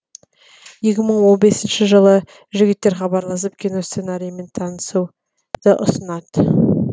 екі мың он бесінші жылы жігіттер хабарласып кино сценарийімен танысуды ұсынады